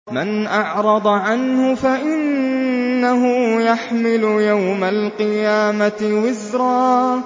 مَّنْ أَعْرَضَ عَنْهُ فَإِنَّهُ يَحْمِلُ يَوْمَ الْقِيَامَةِ وِزْرًا